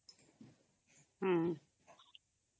ହଁ